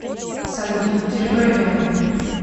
салют территория дома